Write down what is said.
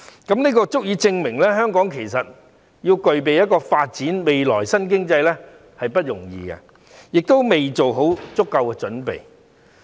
這樣足以證明，香港其實要發展新經濟並不容易，亦未做好足夠準備。